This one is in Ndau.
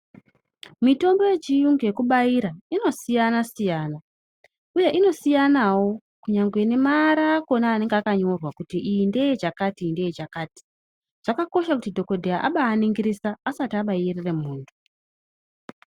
Mitombo yechiyungu yekubaira inosiyana siyana uye inosiyanawo kunyangwe nemaara akona anenge akanyorwa kuti iyi ndeyechakati iyi ndeyechakati zvakakosha kuti dhokodheya abaningirisa asati abairire muntu.